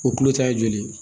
O kulo ta ye joli ye